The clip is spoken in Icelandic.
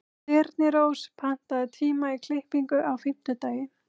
Þyrnirós, pantaðu tíma í klippingu á fimmtudaginn.